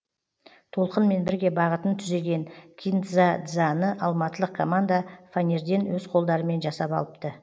толқынмен бірге бағытын түзеген кин дза дзаны алматылық команда фанерден өз қолдарымен жасап алыпты